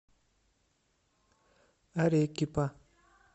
арекипа